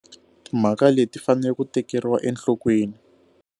Timhaka leti fanele ku tekeriwa enhlokweni.